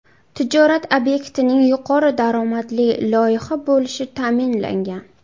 Tijorat obyektining yuqori daromadli loyiha bo‘lishi ta’minlangan.